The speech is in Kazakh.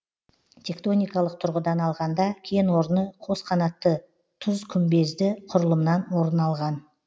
тектоникалық тұрғыдан алғанда кен орны қос қанатты тұзкүмбезді құрылымнан орын алған